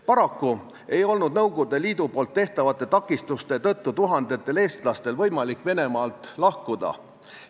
Paraku ei olnud Nõukogude Liidu tehtavate takistuste tõttu tuhandetel eestlastel võimalik Venemaalt lahkuda.